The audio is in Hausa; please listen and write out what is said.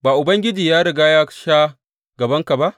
Ba Ubangiji ya riga ya sha gabanka?